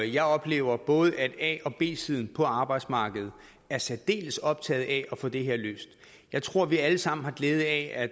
jeg oplever at både a og b siden på arbejdsmarkedet er særdeles optaget af at få det her løst jeg tror at vi alle sammen har glæde af at